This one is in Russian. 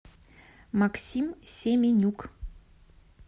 максим семенюк